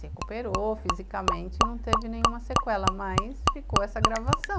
Se recuperou fisicamente, não teve nenhuma sequela, mas ficou essa gravação.